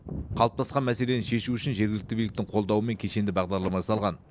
қалыптасқан мәселені шешу үшін жергілікті биліктің қолдауымен кешенді бағдарлама жасалған